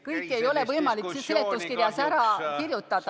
Kõike ei ole võimalik siin seletuskirjas ära kirjutada.